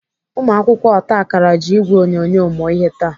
Ụmụakwụkwọ otakara ji ìgwè onyonyo mụọ ihe taa.